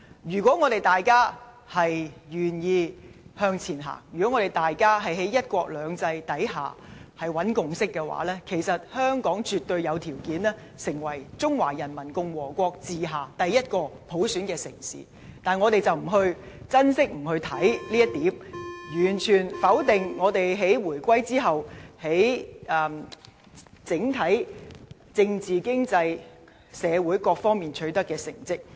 如果大家願意向前行，在"一國兩制"下尋找共識，其實香港絕對有條件成為中華人民共和國治下第一個普選的城市，但我們卻不珍惜，不去看重這一點，完全否定我們在回歸後，在整體政治、經濟、社會各方面取得的成績。